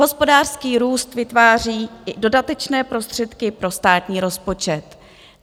Hospodářský růst vytváří i dodatečné prostředky pro státní rozpočet.